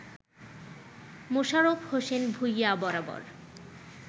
মোশারফ হোসেন ভূঁইয়া বরাবর